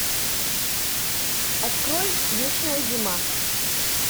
открой вечная зима